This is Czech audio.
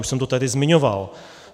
Už jsem to tady zmiňoval.